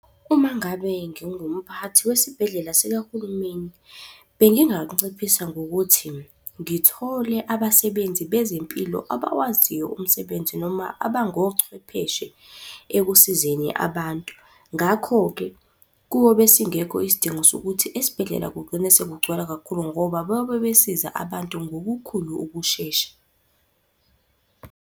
Uma ngabe ngingumphathi wesibhedlela sikahulumeni, benginganciphisa ngokuthi ngithole abasebenzi bezempilo abawaziyo umsebenzi noma abangochwepheshe ekusizeni abantu. Ngakho-ke, kuyobe singekho isidingo sokuthi esibhedlela kugcine sekugcwala kakhulu ngoba bayobe besiza abantu ngokukhulu ukushesha.